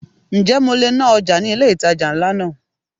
Ǹjẹ́ mo le ná ọjà ní ilé ìtajà ńlá náà?